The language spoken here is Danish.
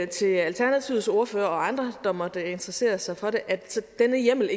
til alternativets ordfører og andre der måtte interessere sig for det at denne hjemmel